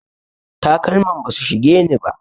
Takalman basu shigeni ba.